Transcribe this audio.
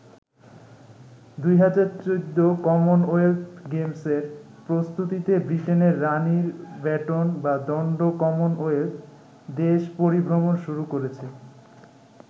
২০১৪ Commonwealth গেমসের প্রস্তুতিতে ব্রিটেনের রানির ব্যাটন বা দন্ড কমনওয়েলথ দেশ পরিভ্রমণ শুরু করেছে।